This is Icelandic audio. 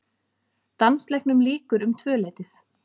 Dansleiknum lýkur um tvöleytið.